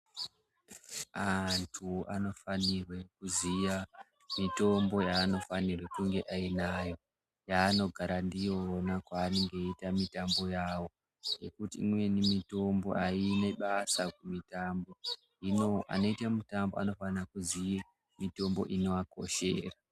Antu anofanirwe kuziya mitombo yanofanirwe kunge ainayo yanogara ndiyona kwanonga eiite mitambo yawo ngekuti imweni mitombo aine basa kuitama hino anoite mitambo anofana kuziya mitombo inoakoshera.